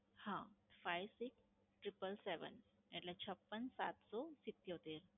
હા, five six triple seven five six triple seven એટલે છપ્પન સાત સૌ સિત્યોતેર.